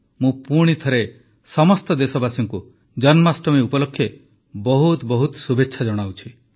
ମୁଁ ପୁଣି ଥରେ ସମସ୍ତ ଦେଶବାସୀଙ୍କୁ ଜନ୍ମାଷ୍ଟମୀ ଉପଲକ୍ଷେ ବହୁତ ବହୁତ ଶୁଭେଚ୍ଛା ଜଣାଉଛି